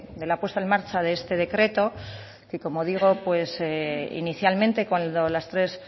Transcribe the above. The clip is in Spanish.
de la puesta en marcha de este decreto que como digo inicialmente cuando las tres